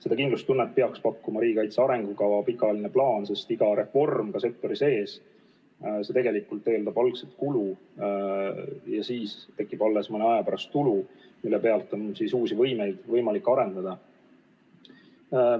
Seda kindlustunnet peaks pakkuma riigikaitse arengukava, pikaajaline plaan, sest iga reform ka sektori sees tegelikult eeldab algul kulu ja siis tekib alles mõne aja pärast tulu, mille pealt on võimalik uusi võimeid arendada.